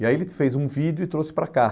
E aí ele fez um vídeo e trouxe para cá.